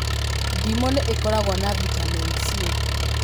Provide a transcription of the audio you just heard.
Ndimũ nĩ ĩkoragwo na bitameni C